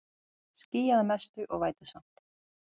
Skýjað að mestu og vætusamt